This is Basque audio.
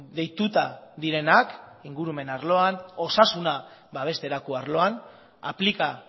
deituta direnak ingurumen arloan osasuna babesterako arloan aplika